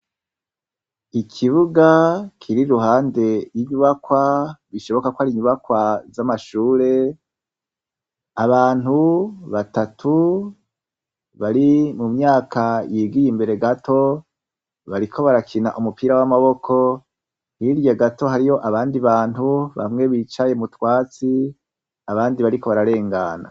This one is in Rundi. Ikibuga kiri iruhande y'inyubakwa bishoboka ko ari inyubakwa z'amashure, abantu batatu bari mu myaka yigiye imbere gato bariko barakina umupira w'amaboko, hirya gato hariyo abandi bantu bamwe bicaye m'utwatsi abandi bariko bararengana.